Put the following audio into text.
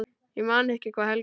Ég man ekki hvað Helga sagði.